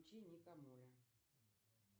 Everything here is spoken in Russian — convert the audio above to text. включи ника моля